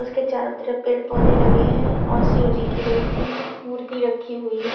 उसके चारों तरफ पेड़ पौधे लगे हैं और शिव जी की मूर्ति रखी हुई।